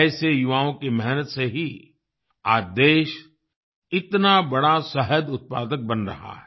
ऐसे युवाओं की मेहनत से ही आज देश इतना बड़ा शहद उत्पादक बन रहा है